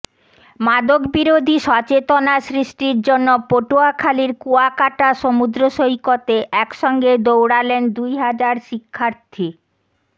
মাদকবিরোধী সচেতনা সৃষ্টির জন্য পটুয়াখালীর কুয়াকাটা সমুদ্র সৈকতে একসঙ্গে দৌড়ালেন দুই হাজার শিক্ষার্থী